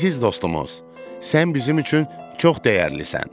Əziz dostumuz, sən bizim üçün çox dəyərlisən.